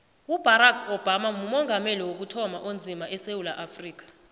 ubarack obama mumongameli wokuthoma onzima esewula afrika